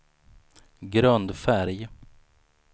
grundfärg